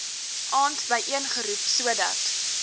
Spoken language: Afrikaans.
aand byeengeroep sodat